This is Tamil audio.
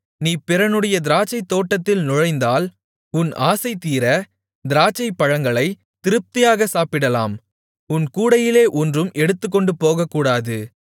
நீ பிறனுடைய திராட்சைத்தோட்டத்தில் நுழைந்தால் உன் ஆசைதீர திராட்சைப்பழங்களைத் திருப்தியாக சாப்பிடலாம் உன் கூடையிலே ஒன்றும் எடுத்துக்கொண்டு போகக்கூடாது